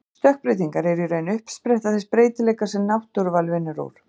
Stökkbreytingar eru í raun uppspretta þess breytileika sem náttúruval vinnur úr.